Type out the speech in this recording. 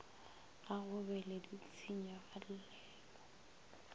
ga go be le ditshenyagelo